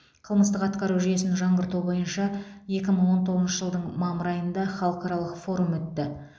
қылмыстық атқару жүйесін жаңғырту бойынша екі мың он тоғызыншы жылдың мамыр айында халықаралық форум өтті